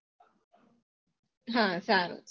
હા સારું